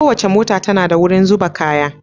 Kowace mota tana da wurin zuba kaya